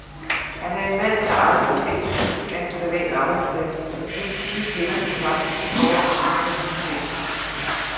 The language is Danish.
Han er en mand, der aldrig har set skyggen af en privat arbejdsplads, endsige kender de faktiske forhold for disse mennesker.